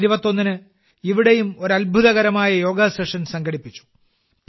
June 21 ന് ഇവിടെയും ഒരു അത്ഭുതകരമായ യോഗ സെഷൻ സംഘടിപ്പിച്ചു